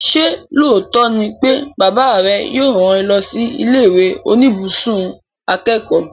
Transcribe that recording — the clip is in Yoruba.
Ṣé lóòótọ́ ni pé bàbá rẹ yóò rán ẹ lọ sí ilé ìwé oníbùsùn akẹ́kọ̀ọ́?